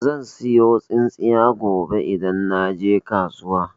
Zan siyo tsintsiya idan naje kasuwa.